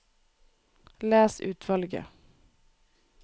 Les utvalget